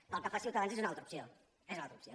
pel que fa a ciutadans és una altra opció és una altra opció